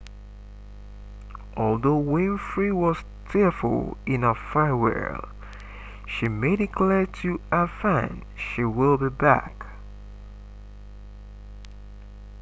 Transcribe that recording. although winfrey was tearful in her farewell she made it clear to her fans she will be back